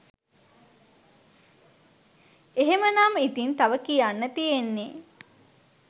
එහෙමනම් ඉතිං තව කියන්න තියෙන්නේ